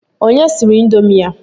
Onye siri indomi a?